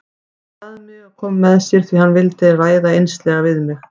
Hann bað mig að koma með sér því hann vildi ræða einslega við mig.